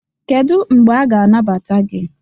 kedu mgbe a ga-anagbata gị